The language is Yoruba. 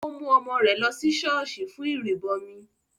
Ó mú ọmọ rẹ̀ lọ sí ṣọ́ọ̀ṣì fún ìrìbọmi